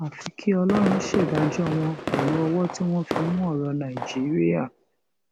àfi kí ọlọrun ṣèdájọ wọn pẹlú ọwọ tí wọn fi mú ọrọ nàìjíríà